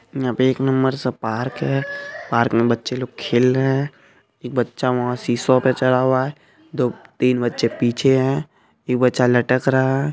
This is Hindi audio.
यंहा पे एक नंबर सा पार्क है पार्क मे बच्चे लोग खेल रहे है एक बच्चा वंहा सिसौ पर चढ़ा हुआ है दो-तीन बच्चे पीछे है एक बच्चा लटक रहा है।